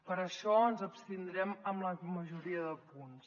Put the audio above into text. per això ens abstindrem en la majoria de punts